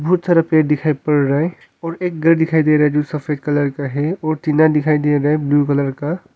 बहुत सारा पेड़ दिखाई पड़ रहा है और एक घर दिखाई दे रहा है जो सफेद कलर का है और टीना दिखाई दे रहा है ब्लू कलर का।